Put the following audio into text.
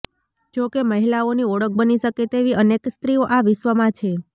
જોકે મહિલાઓની ઓળખ બની શકે તેવી અનેક સ્ત્રીઓ આ વિશ્વમાં છે